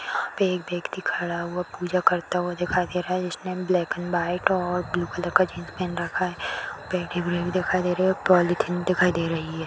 एक व्यक्ति खड़ा हुआ पूजा करता हुआ दिखाई दे रहा है जिसने ब्लॅक अँड व्हाइट और ब्लू कलर का जीन्स पहन रखा है दिखाई दे रही है पॉलीथिन दिखाई दे रही है।